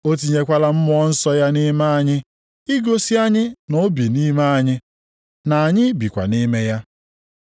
O tinyekwala Mmụọ Nsọ ya nʼime anyị igosi anyị na o bi nʼime anyị, na anyị bikwa nʼime ya.